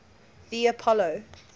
the apollo